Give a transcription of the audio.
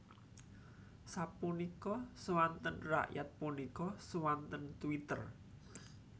Sapunika suanten rakyat punika suanten Twitter